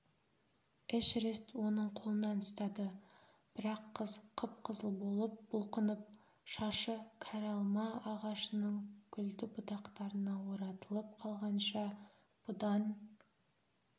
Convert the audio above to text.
эшерест оның қолынан ұстады бірақ қыз қып-қызыл болып бұлқынып шашы кәрі алма ағашының гүлді бұтақтарына оратылып қалғанша бұдан